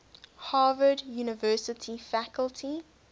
harvard university faculty